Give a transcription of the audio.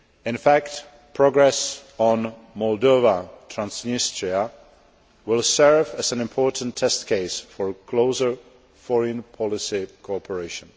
In fact, progress on Moldova Transnistria will serve as an important test case for closer foreign policy cooperation.